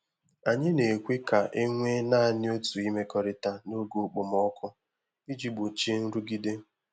Anyị na-ekwe ka e nwee naanị otu imekọrịta n’oge okpomọkụ iji gbochie nrụgide.